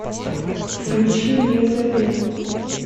включи мне завет